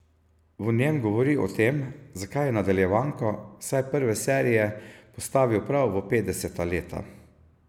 V njem govori o tem, zakaj je nadaljevanko, vsaj prve serije, postavil prav v petdeseta leta.